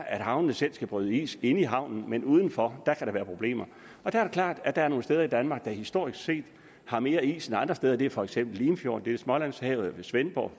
at havnene selv skal bryde is inde i havnen men uden for kan være problemer det er klart at der er nogle steder i danmark der historisk set har mere is end andre steder det er for eksempel limfjorden det er smålandshavet ved svendborg